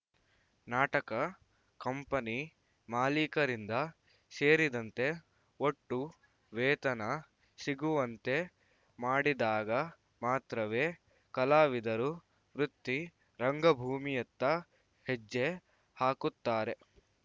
ನಾಟಕ ಕಂಪನಿ ಮಾಲೀಕರಿಂದ ಸೇರಿದಂತೆ ಒಟ್ಟು ವೇತನ ಸಿಗುವಂತೆ ಮಾಡಿದಾಗ ಮಾತ್ರವೇ ಕಲಾವಿದರೂ ವೃತ್ತಿ ರಂಗಭೂಮಿಯತ್ತ ಹೆಜ್ಜೆ ಹಾಕುತ್ತಾರೆ